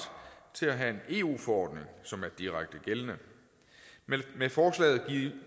til at have en eu forordning som er direkte gældende med forslaget